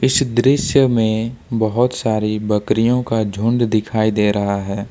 इस दृश्य में बहुत सारी बकरियों का झुंड दिखाई दे रहा है।